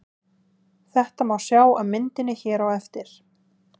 Þetta má sjá á myndinni hér á eftir.